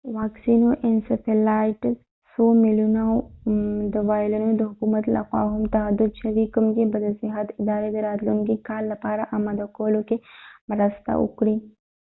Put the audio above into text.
څو میلیونه د incephalitis واکسینو وایلونه د حکومت لخوا هم تعهد شوي کوم چې به د صحت ادارې د راتلونکي کال لپاره آماده کولو کې مرسته وکړي